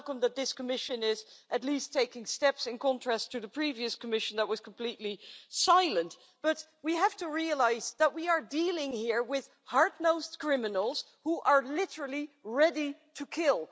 I welcome that this Commission is at least taking steps in contrast to the previous Commission that was completely silent but we have to realise that we are dealing here with hard nosed criminals who are literally ready to kill.